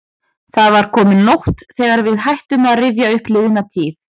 Það var komin nótt þegar við hættum að rifja upp liðna tíð.